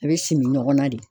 A be simi ɲɔgɔn na de